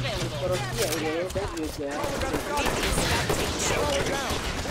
mĩkoribia ĩrĩa yendagio nja wa bũrũri ndĩbatiĩ gũkũra mũno.